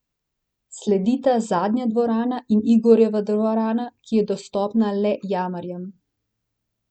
Sledita Zadnja dvorana in Igorjeva dvorana, ki je dostopna le jamarjem.